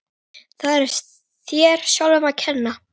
Það er þér sjálfum að kenna.